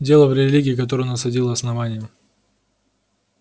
дело в религии которую насадило основание